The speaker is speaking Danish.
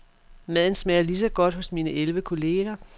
Maden smager ligeså godt hos mine elleve kolleger.